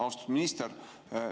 Austatud minister!